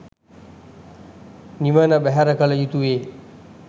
නිවන බැහැර කල යුතුවේ.